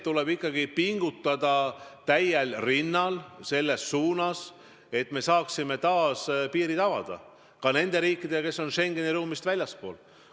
Tuleb ikkagi pingutada täiest jõust selle nimel, et me saaksime taas piirid avada, ka piirid nende riikidega, kes on Schengeni ruumist väljaspool.